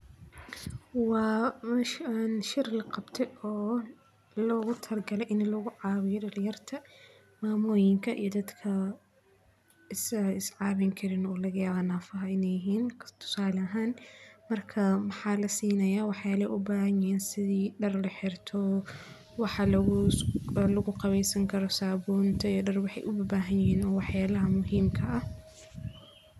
Meshan waa shir laqabte logu talagale in lacawiyo mamoyinka iyo dadka iscawin karin oo laga yawa in nafa yihin marka maxaa lasinaya wax yalaha ee u bahan yihin in dar laxirto iyo sabunta lagu qawesanayo cunto iyo dar waxee u bahanyihin oo muhiim ka ah.